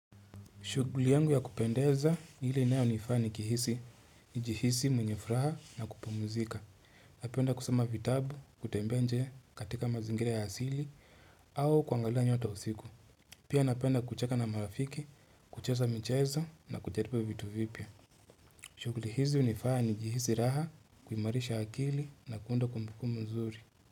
Shughuli yangu ya kupendeza ile inayonifaa nikihisi, njihisi mweye furaha na kupumzika. Napenda kusoma vitabu, kutembea nje katika mazingire ya asili au kuangalia nyota usiku. Pia napenda kucheka na marafiki, kucheza michezo na kujaribu vitu vipya. Shuguli hizi hunifanyau nihisi raha, kumarisha akili na kuunda kumbukumbu nzuri.